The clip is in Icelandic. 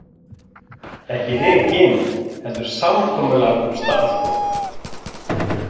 Ekki rekinn heldur samkomulag um starfslok